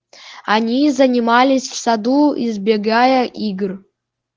они занимались в саду избегая игр